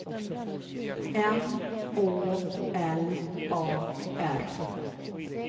M Å L A R